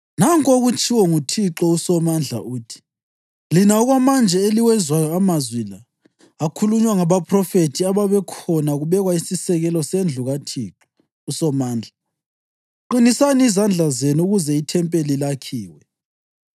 Nanku okutshiwo nguThixo uSomandla, uthi: “Lina okwamanje eliwezwayo amazwi la akhulunywa ngabaphrofethi ababekhona kubekwa isisekelo sendlu kaThixo uSomandla, qinisani izandla zenu ukuze ithempeli lakhiwe.